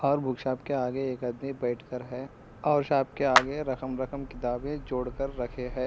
Book shop के आगे एक आदमी बैठकर है और शॉप के आगे रकम रकम किताबे जोड़कर रखे है।